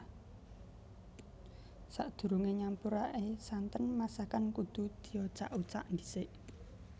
Sadurungé nyampuraké santen masakan kudu diocak ocak dhisik